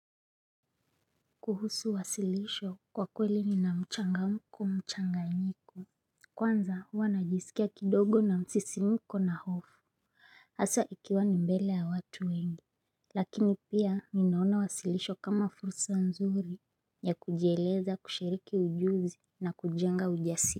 Kuhusu wasilisho kwa kweli ni na mchanga mko mchanganyiko. Kwanza huwa najisikia kidogo na msisimiko na hofu. Aswa ikiwa ni mbele ya watu wengi. Lakini pia minaona wasilisho kama fursa nzuri ya kujieleza kushiriki ujuzi na kujenga ujasi.